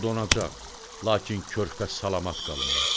O donacaq, lakin körpə salamat qalmalıdır.